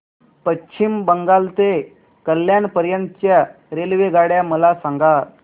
पश्चिम बंगाल ते कल्याण पर्यंत च्या रेल्वेगाड्या मला सांगा